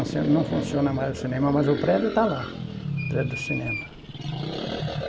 Não funciona mais o cinema, mas o prédio está lá, o prédio do cinema.